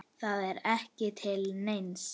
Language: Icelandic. Það er ekki til neins.